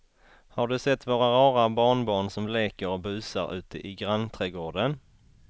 Har du sett våra rara barnbarn som leker och busar ute i grannträdgården!